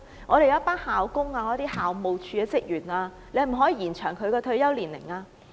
可否延後校工和校務處職員的退休年齡呢？